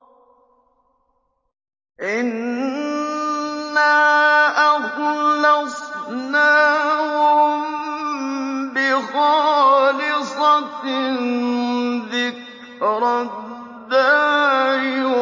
إِنَّا أَخْلَصْنَاهُم بِخَالِصَةٍ ذِكْرَى الدَّارِ